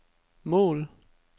mål